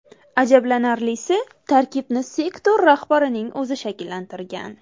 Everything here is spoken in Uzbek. Ajablanarlisi, tarkibni sektor rahbarining o‘zi shakllantirgan.